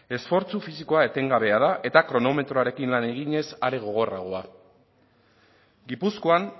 esfortzu fisikoa etengabea da eta kronometroarekin lan eginez are gogorragoa gipuzkoan